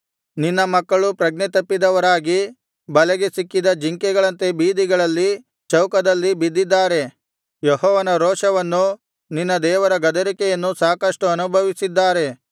ನಿನ್ನ ಮಕ್ಕಳು ಪ್ರಜ್ಞೆತಪ್ಪಿದವರಾಗಿ ಬಲೆಗೆ ಸಿಕ್ಕಿದ ಜಿಂಕೆಗಳಂತೆ ಬೀದಿಗಳಲ್ಲಿ ಚೌಕದಲ್ಲಿ ಬಿದ್ದಿದ್ದಾರೆ ಯೆಹೋವನ ರೋಷವನ್ನೂ ನಿನ್ನ ದೇವರ ಗದರಿಕೆಯನ್ನೂ ಸಾಕಷ್ಟು ಅನುಭವಿಸಿದ್ದಾರೆ